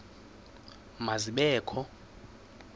ma zibe kho